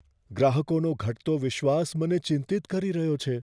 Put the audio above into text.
ગ્રાહકોનો ઘટતો વિશ્વાસ મને ચિંતિત કરી રહ્યો છે.